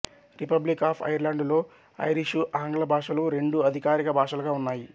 republic of ఐర్లాండులో Irish ఆంగ్ల భాషలు రెండూ అధికారిక భాషలుగా ఉన్నాయి